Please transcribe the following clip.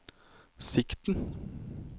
sikten